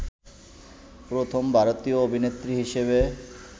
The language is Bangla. প্রথম ভারতীয় অভিনেত্রী হিসেবে